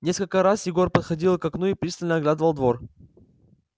несколько раз егор подходил к окну и пристально оглядывал двор